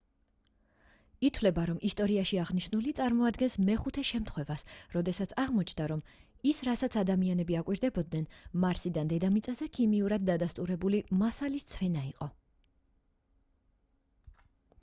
ითვლება რომ ისტორიაში აღნიშნული წარმოადგენს მეხუთე შემთხვევას როდესაც აღმოჩნდა რომ ის რასაც ადამიანები აკვირდებოდნენ მარსიდან დედამიწაზე ქიმიურად დადასტურებული მასალის ცვენა იყო